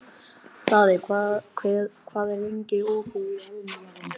Daði, hvað er lengi opið í Almannaróm?